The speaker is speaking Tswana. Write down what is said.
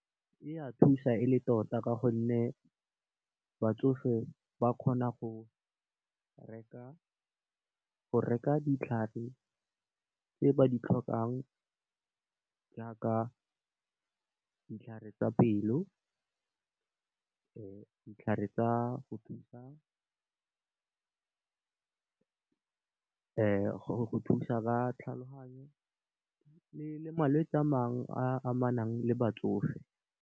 E a thusa e le tota ka gonne, batsofe ba kgona go reka ditlhare tse ba di tlhokang jaaka ditlhare tsa pelo , ditlhare tsa go thusa ba tlhaloganyo le malwetsi a mangwe a amanang le batsofe.